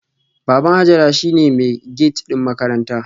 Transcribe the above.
Baban Hajara shine mai gate din makaranta